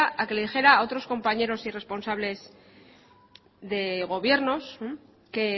a que le dijera a otros compañeros y responsables de gobiernos que